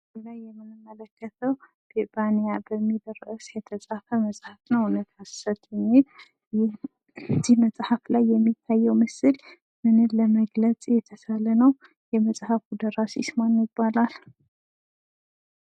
በምስሉ ላይ የምንመለከተው ቢባንያ በሚል ርዕስ የተጻፈ መጽሀፍ ነው። እውነት ሀሰት የሚል እዚህ መጽሐፍ ላይ የሚታየው ምስል ምንም ለመግለጽ የተሳለ ነው። የመጽሐፉ ደራሲስ ማን ይባላል?